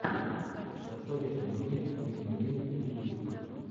посоветуй мне лину вин ютьюб